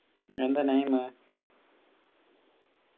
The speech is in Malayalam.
എന്താ name